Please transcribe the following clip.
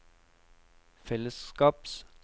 fellesskaps